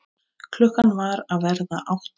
Klukkan var að verða átta.